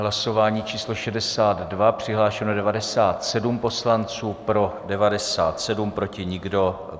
Hlasování číslo 62, přihlášeno 97 poslanců, pro 97, proti nikdo.